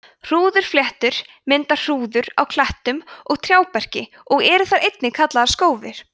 hrúðurfléttur mynda hrúður á klettum og trjáberki og eru þær einnig kallaðar skófir